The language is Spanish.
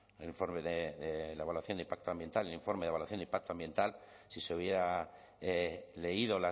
el informe de la evaluación de impacto ambiental el informe de evaluación de impacto ambiental si se hubiera leído